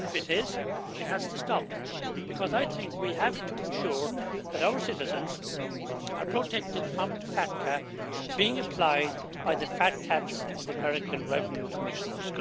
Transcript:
If it is, it has to stop, because I think we have to ensure that our citizens are protected from FATCA being applied by the fat cats of the American Revenue Commissioners.